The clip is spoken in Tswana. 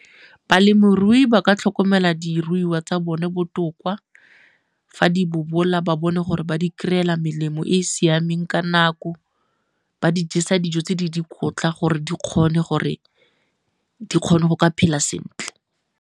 Balemirui ba ka tlhokomela diruiwa tsa bone botoka, fa di bobola ba bone gore ba di kry-ela melemo e e siameng ka nako, ba di jesa dijo tse di dikotla gore di kgone go ka phela sentle.